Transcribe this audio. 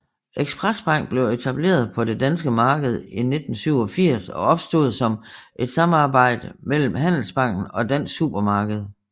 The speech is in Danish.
Express Bank blev etableret på det danske marked i 1987 og opstod som et samarbejde mellem Handelsbanken og Dansk Supermarked